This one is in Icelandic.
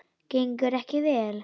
Gengur ekki vel?